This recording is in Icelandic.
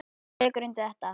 Hrefna tekur undir þetta.